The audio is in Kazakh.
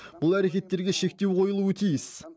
бұл әрекеттерге шектеу қойылуы тиіс